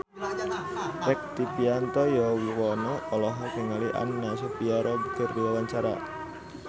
Rektivianto Yoewono olohok ningali Anna Sophia Robb keur diwawancara